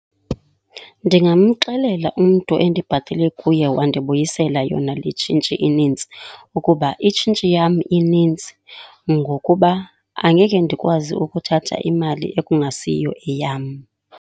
Ndingamxelela umntu endibhatele kuye wandibuyisela yona le tshintshi inintsi ukuba itshintshi yam ininzi ngokuba angeke ndikwazi ukuthatha imali ekungasiyiyo eyam.